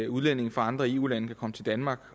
udlændinge fra andre eu lande kan komme til danmark